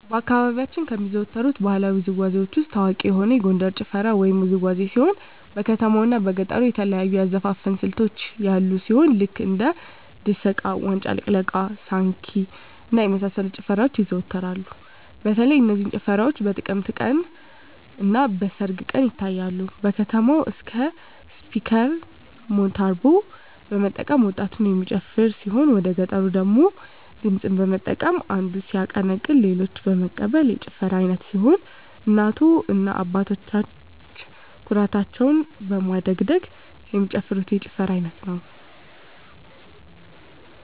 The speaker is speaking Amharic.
በአካባቢያችን ከሚዘወተሩ ባህለዊ ውዝዋዜዎች ውስጥ ታዋቂ የሆነ የጎንደር ጭፈራ ወይም ውዝዋዜ ሲሆን በከተማው እና በገጠሩ የተለያዩ የአዘፋፈን ስልቶች ያሉ ሲሆን ልክ እንደ ድሰቃ; ዋጫ ልቅለቃ; ሳንኪ እና የመሳሰሉት ጭፈራዎች ይዘዎተራሉ በተለይ እነዚህ ጭፈራዎች በጥምቀት ቀን; እና በሰርግ ቀን ይታያሉ። በከተማው አካባቢ ስፒከር (ሞንታርቦ) በመጠቀም ወጣቱ የሚጨፍር ሲሆን ወደገጠሩ ደግሞ ድምፅን በመጠቀም አንዱ ሲያቀነቅን ሌሎች በመቀበል የጭፈራ አይነት ሲሆን እናቶ እና አባቶች ኩታቸውን በማደግደግ የሚጨፍሩት የጭፈራ አይነት ነው።